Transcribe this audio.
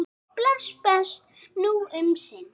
Bless, bless, nú um sinn.